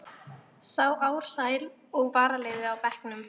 Sá Ársæl og varaliðið á bekknum.